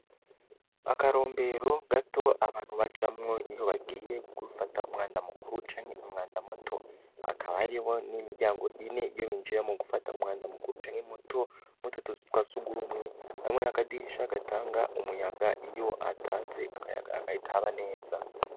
Akarombero gato abantu bacamwo iyo bagiye kbifata umwanda mukuru canke umwanda muto akaba aribo n'imiryango ine iyo binjira mu gufata umwanda mukuru canke muto muto tuzi twasi gumwe bamwe nakadirisha agatanga umuyaga iyo atanze akayaga agayitaba neza.